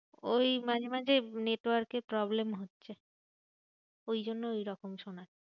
ওই মাঝে মাঝে network এর problem হচ্ছে ওই জন্য ঐরকম শোনাচ্ছে।